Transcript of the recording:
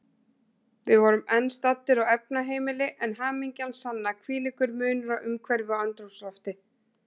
Við vorum enn staddir á efnaheimili, en hamingjan sanna, hvílíkur munur á umhverfi og andrúmslofti.